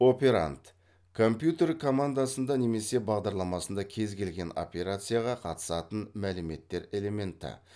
операнд компьютер командасында немесе бағдарламасында кез келген операцияға қатысатын мәліметтер элементі